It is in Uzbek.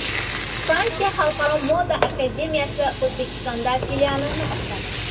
Fransiya xalqaro moda akademiyasi O‘zbekistonda filialini ochadi.